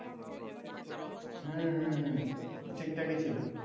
হুম হুম হুম ঠিক ঠাকিই ছিল